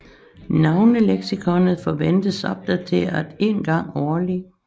Navneleksikonet forventes opdateret en gang årligt